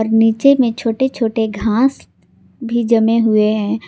नीचे में छोटे छोटे घास भी जमे हुवे हैं।